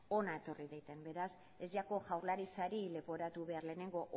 hona etorri daiten beraz ez jako jaurlaritzari leporatu behar lehenengo